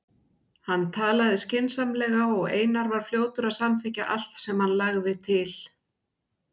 Hann talaði skynsamlega og Einar var fljótur að samþykkja allt sem hann lagði til.